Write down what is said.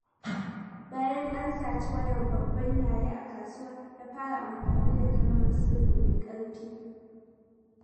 Bayan an saci wayar Babban Yaya a kasuwa, ya fara amfani da kalmar sirri mai ƙarfi.